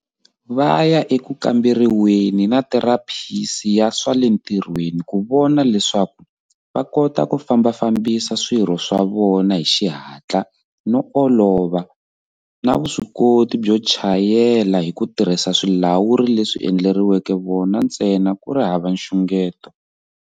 Va ya eku kamberiweni na therapisi ya swa le ntirhweni ku vona leswaku va kota ku fambafambisa swirho swa vona hi xi hatla no olova na vuswikoti byo chayela hi ku tirhisa swilawuri leswi endleriweke vona ntsena ku ri hava nxungeto.